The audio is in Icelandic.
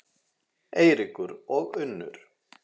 Eiríkur og Unnur.